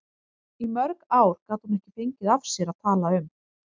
Í mörg ár gat hún ekki fengið af sér að tala um